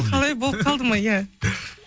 қалай болып қалды ма иә